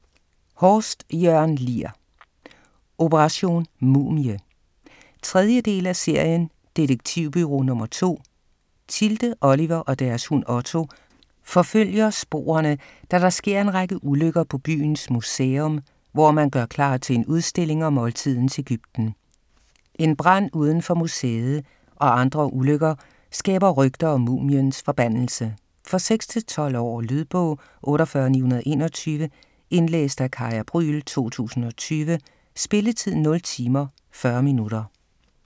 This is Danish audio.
Horst, Jørn Lier: Operation Mumie 3. del af serien Detektivbureau Nr. 2. Tilde, Oliver og deres hund, Otto, forfølger sporene, da der sker en række ulykker på byens museum, hvor man gør klar til en udstilling om oldtidens Egypten. En brand udenfor museet og andre ulykker skaber rygter om mumiens forbandelse. For 6-12 år. Lydbog 48921 Indlæst af Kaya Brüel, 2020. Spilletid: 0 timer, 40 minutter.